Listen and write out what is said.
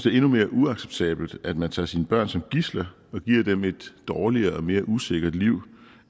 er endnu mere uacceptabelt at man tager sine børn som gidsler og giver dem et dårligere og mere usikkert liv